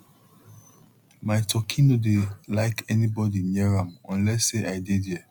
my turkey no dey like anybody near am unless say i dey there